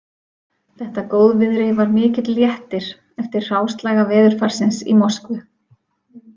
Þetta góðviðri var mikill léttir eftir hráslaga veðurfarsins í Moskvu